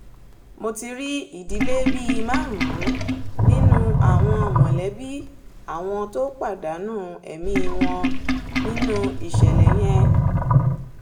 mo ti rí ìdílé bíi márùn-ún nínú àwọn mọ̀lẹ́bí àwọn tó pàdánù ẹ̀mí wọn nínú ìṣẹ̀lẹ̀ yẹn